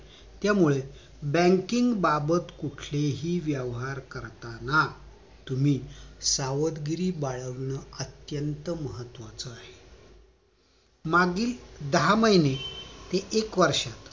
त्यामुळे banking बाबत कुठले हि व्यवहार करताना तुम्ही सावधगिरी बाळगणं अत्यंत महत्वाचं आहे मागील दहा महिने ते एक वर्षात